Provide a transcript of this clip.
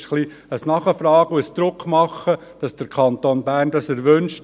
Es ist ein wenig ein Nachfragen und Druckmachen, dass der Kanton Bern das wünscht.